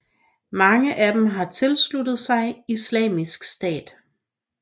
Mange af dem har tilsluttet sig Islamisk Stat